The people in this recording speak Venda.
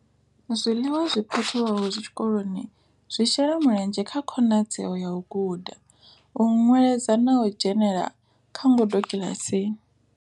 Zwiḽiwa zwi phakhiwaho tshikoloni zwi shela mulenzhe kha khonadzeo ya u guda, u nweledza na u dzhenela kha ngudo kiḽasini.